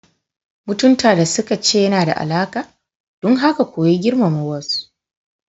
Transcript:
Mutunta da suka ce yana da alaƙa, don haka koyi girmama wasu.